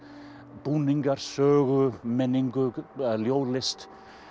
búninga sögu menningu ljóðlist